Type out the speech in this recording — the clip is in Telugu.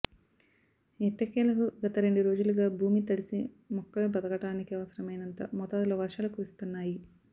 ఎట్టకేలకు గత రెండు రోజులగా భూమి తడిసి మొక్కలు బతకటానికి అవసరమైనంత మోతాదులో వర్షాలు కురుస్తున్నాయి